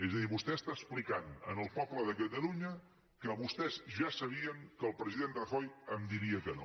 és a dir vostè explica al poble de catalunya que vostès ja sabien que el president rajoy em diria que no